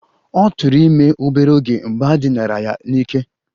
Ọ tụụrụ ime obere oge mgbe e dinara ya n'ike